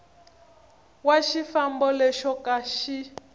wa xifambo lexo ka xi